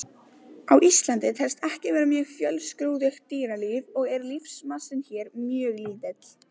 Á Íslandi telst ekki vera mjög fjölskrúðugt dýralíf og er lífmassinn hér mjög lítill.